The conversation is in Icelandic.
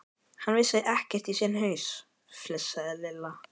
Hann vissi ekkert í sinn haus, flissaði Lilla.